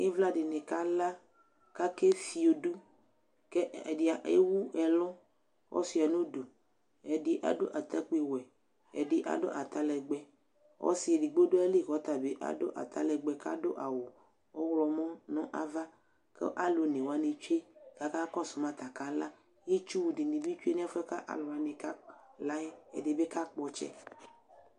ivla dini kala ku akɛ fio dʋ kɛ ɛdi ɛwʋ ɛlʋ kɔsia nʋ dʋ edi adʋ atakpi wɛ ɛdi adʋ atalɛgbɛ ɔsi edigbo du ayili kʋ ɔtabi adʋ atalɛgbɛ kʋ adʋ awu ɔwʋlɔ mɔ naɣa kʋ alʋ onɛ wani twɛ ku aka kɔsʋma ta aka la itsu dini bi twɛ nɛfuɛ kʋ alʋ wani kala ɛ edibi ka kpɔ ɔtsɛ